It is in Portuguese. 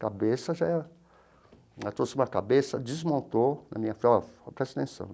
Cabeça já era... Ela trouxe uma cabeça, desmontou, na minha... Falou, ó, presta atenção.